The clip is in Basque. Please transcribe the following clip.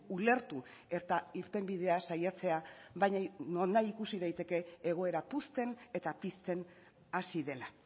ulertu eta irtenbidea saiatzea baina nonahi ikusi daiteke egoera puzten eta pizten hasi dela